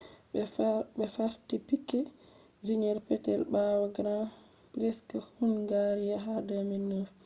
ɓe farti piquet jr. peetel ɓaawo grand priks hungaria ha 2009